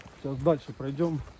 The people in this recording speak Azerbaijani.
İndi irəli gedərik.